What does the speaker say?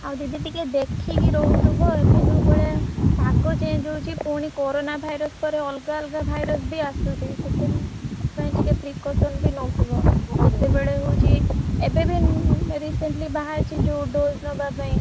ଆଉ ଦିଦି ଟିକେ ଦେଖିକି ରହୁଥିବ ଏବେ ଯୋଉ ବେଳେ ପାଗ change ହଉଛି ପୁଣି coronavirus ପରେ ଅଲଗା ଅଲଗା virus ବି ଆସୁଛି ସେଥିପାଇଁ ଟିକେ precaution ବି ନଉଥିବ କେତେବେଳେ ହଉଛି? ଏବେବି ଉଁ recently ବାହାରିଛି ଯୋଉ dose ନବାପାଇଁ।